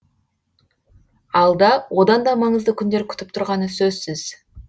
алда одан да маңызды күндер күтіп тұрғаны сөзсіз